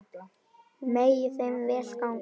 Megi þeim vel ganga.